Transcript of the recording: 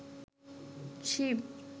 Shiva